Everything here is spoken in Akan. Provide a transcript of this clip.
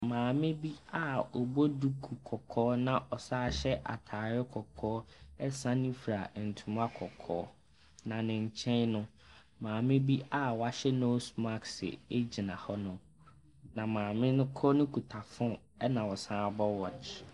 Maame bi a ɔbɔ duku kɔkɔɔ na ɔsan hyɛ atade kɔkɔɔ sane fura ntoma kɔkɔɔ, na ne nkyɛn no, maame bi a wahyɛɛ nose mask gyina hɔnom, na maame no koro no kuta phone ɛnna ɔsan bɔ watch.